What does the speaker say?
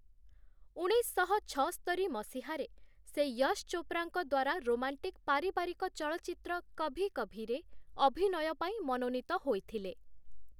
ଉଣେଇଶଶହ ଛଅସ୍ତରି ମସିହାରେ ସେ ୟଶ୍‌ ଚୋପ୍ରାଙ୍କ ଦ୍ୱାରା ରୋମାଣ୍ଟିକ୍ ପାରିବାରିକ ଚଳଚ୍ଚିତ୍ର 'କଭି କଭି'ରେ ଅଭିନୟ ପାଇଁ ମନୋନୀତ ହୋଇଥିଲେ ।